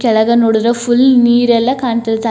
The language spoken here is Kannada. ಕೆಳಗೆ ನೋಡಿದ್ರೆ ಫುಲ್ ನೀರೆಲ್ಲ ಕಾಣತೈತಿ.